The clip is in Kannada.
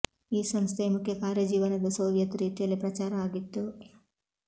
ಈ ಸಂಸ್ಥೆಯ ಮುಖ್ಯ ಕಾರ್ಯ ಜೀವನದ ಸೋವಿಯತ್ ರೀತಿಯಲ್ಲಿ ಪ್ರಚಾರ ಆಗಿತ್ತು